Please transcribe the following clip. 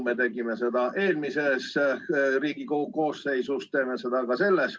Me tegime seda eelmises Riigikogu koosseisus, teeme seda ka selles.